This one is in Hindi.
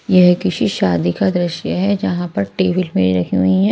यह किसी शादी का दृश्य है जहां पर टेबल भी रखी हुई हैं।